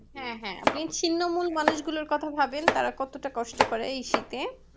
হ্যাঁ হ্যাঁ আপনি ছিন্নমূল মানুষগুলোর কথা ভাবেন তারা কতটা কষ্ট করে শীতে